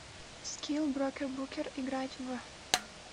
скилл брокербукер играть в